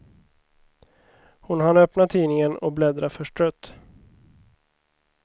Hon hann öppna tidningen, och bläddra förstrött.